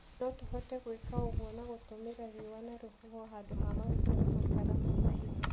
No tũhote gwĩka ũguo na gũtũmĩra riũa na rũhuho handũ ha maguta na makara ma mahiga.